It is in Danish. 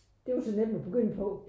Det jo så nemt at begynde på